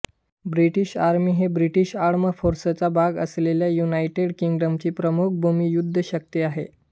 British army हे British armed फोर्सचा भाग असलेल्या युनायटेड किंग्डमची प्रमुख भूमी युद्ध शक्ती आहे